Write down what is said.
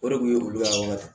O de kun ye olu ka